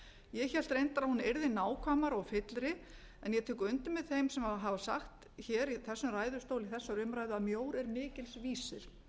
ég hélt reyndar að hún yrði nákvæmari og fyllri en ég tek undir með þeim sem hafa sagt hér í þessum ræðustól í þessari umræðu að mjór er mikils vísir